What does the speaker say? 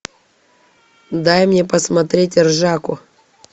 дай мне посмотреть ржаку